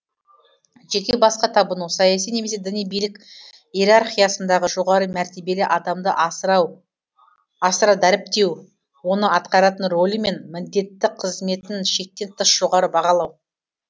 жеке басқа табыну саяси немесе діни билік иерархиясындағы жоғары мәртебелі адамды асыра дәріптеу оның атқаратын рөлі мен міндетті қызметін шектен тыс жоғары бағалау